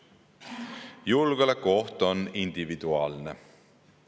Julgeolekuoht on individuaalne.